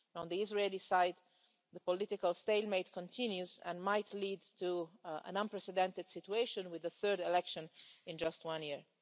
And on the Israeli side, the political stalemate continues and might lead to an unprecedented situation with the third election in just one year.